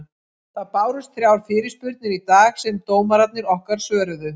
Það bárust þrjár fyrirspurnir í dag sem dómararnir okkar svöruðu.